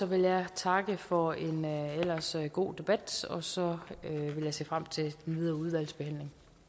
vil jeg takke for en ellers god debat og så vil jeg se frem til den videre udvalgsbehandling